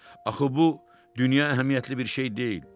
Axı bu dünya əhəmiyyətli bir şey deyil.